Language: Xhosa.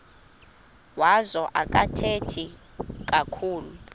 wazo akathethi kakhulu